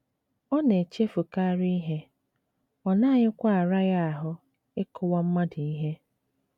Ọ na - echefukarị ihe, ọ naghịkwa ara ya ahụ́ ịkụwa mmadụ ihe.